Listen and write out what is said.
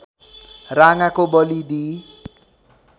राँगाको बली दिई